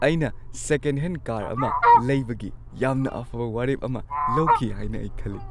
ꯑꯩꯅ second hand car ꯑꯃ ꯂꯩꯕꯒꯤ ꯌꯥꯝꯅ ꯑꯐꯕ ꯋꯥꯔꯦꯞ ꯑꯃ ꯂꯧꯈꯤ ꯍꯥꯏꯅ ꯑꯩ ꯈꯜꯂꯤ꯫